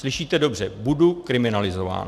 Slyšíte dobře - budu kriminalizován.